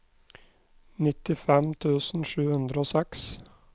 nittifem tusen sju hundre og seks